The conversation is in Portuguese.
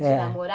É, de namorar.